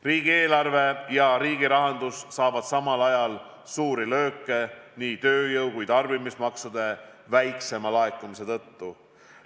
Riigieelarve ja riigi rahandus saavad samal ajal suuri lööke nii tööjõu- kui ka tarbimismaksude väiksema laekumise tõttu.